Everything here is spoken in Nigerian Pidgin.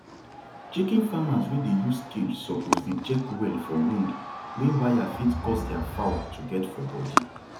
chicken farmers wey dey use cage suppose dey check well for wound wey wire fit cause thier fowl to get for body